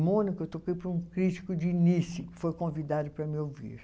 Em Mônaco, eu toquei para um crítico de nice, que foi convidado para me ouvir.